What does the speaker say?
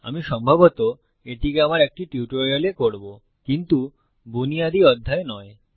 আমি সম্ভবত এটিকে আমার একটি টিউটোরিয়ালে করবো কিন্তু বুনিয়াদি অধ্যায়ে নয়